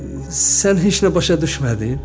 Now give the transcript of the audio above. Sən heç nə başa düşmədin?